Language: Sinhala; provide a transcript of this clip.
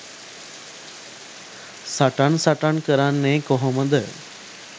සටන් සටන් කරන්නේ කොහොමද?